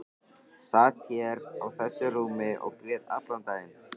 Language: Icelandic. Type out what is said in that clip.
Sat hér á þessu rúmi og grét allan daginn.